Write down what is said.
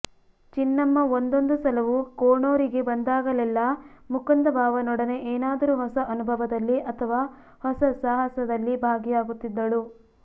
ಚಿನ್ನಮ್ಮ ಒಂದೊಂದು ಸಲವೂ ಕೋಣೂರಿಗೆ ಬಂದಾಗಲೆಲ್ಲಾ ಮುಕುಂದ ಬಾವನೊಡನೆ ಏನಾದರೂ ಹೊಸ ಅನುಭವದಲ್ಲಿ ಅಥವಾ ಹೊಸ ಸಾಹಸದಲ್ಲಿ ಬಾಗಿಯಾಗುತ್ತಿದ್ದಳು